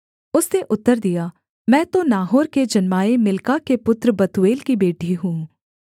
उसने उत्तर दिया मैं तो नाहोर के जन्माए मिल्का के पुत्र बतूएल की बेटी हूँ